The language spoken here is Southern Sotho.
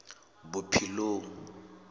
bophelong